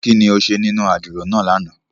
Kini o ṣe ninu àdiro náa làná?